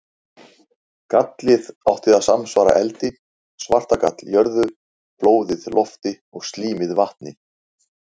Gallið átti að samsvara eldi, svartagall jörðu, blóðið lofti og slímið vatni.